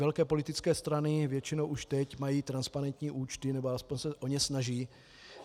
Velké politické strany většinou už teď mají transparentní účty, nebo alespoň se o ně snaží.